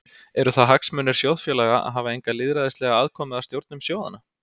Eru það hagsmunir sjóðfélaga að hafa enga lýðræðislega aðkomu að stjórnum sjóðanna?